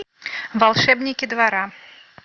волшебники двора